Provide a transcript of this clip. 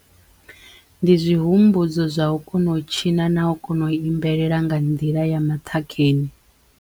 Ndi zwihumbudzo zwa u kono u tshina na u kono u imbelela nga nḓila ya maṱhakheni.